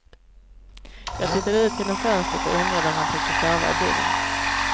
Jag tittade ut genom fönstret och undrade om han tänkte sova i bilen.